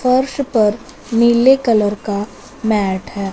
फर्श पर नीले कलर का मैट है।